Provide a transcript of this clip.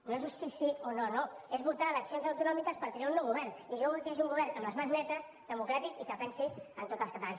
no és un sí sí o no no és votar eleccions autonòmiques per triar un nou govern i jo vull que hi hagi un govern amb les mans netes democràtic i que pensi en tots els catalans